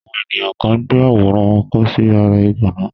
àwọn èniyàn kan gbé àwòrán wọn kọ sí ara ìgànná.